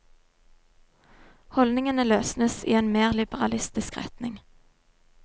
Holdningene løsnes i en mer liberalistisk retning.